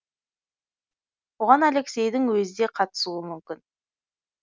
оған алексейдің өзі де қатысуы мүмкін